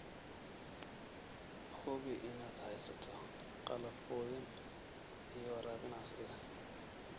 Hubi inaad haysato qalab quudin iyo waraabin casri ah.